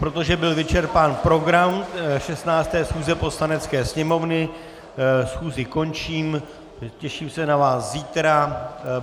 Protože byl vyčerpán program 15. schůze Poslanecké sněmovny, schůzi končím, těším se na vás zítra.